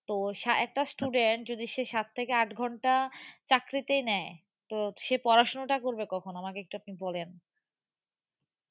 তো একটা student যদি সে সাত থেকে আট ঘন্টা চাকরিতেই নেয় তো সে পড়াশুনাটা করবে কখন? আমাকে একটু আপনি বলেন।